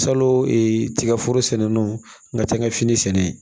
Salo ee tigaforo sɛnɛni n ka taa n ka fini sɛnɛ